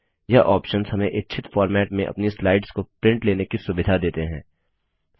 यह ऑप्शंस हमें इच्छित फॉर्मेट में अपनी स्लाइड्स की प्रिंट लेने की सुविधा देते हैं